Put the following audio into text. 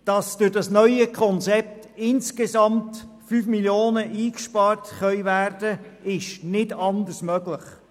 Dass durch das neue Konzept insgesamt 5 Mio. Franken eingespart werden können, ist nicht anders möglich.